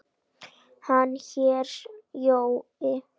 Hann hét Jói.